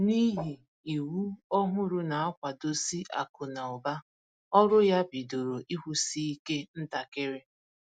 N’ihi iwu òhùrù na-akwado si akụ́ na ụ̀ba, ọrụ ya bidoro ịkwụsị ike ntakiri